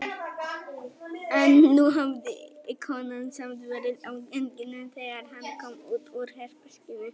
En nú hafði konan samt verið á ganginum þegar hann kom út úr herberginu.